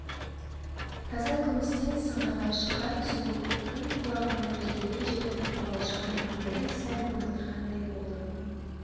таза күмістен сыңғырлай шыққан сұлу үн құлағына еркелей жетіп қобалжыған көңілін сәл орнықтырғандай болды